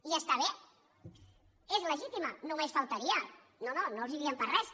i està bé és legítima només faltaria no no no els diem pas res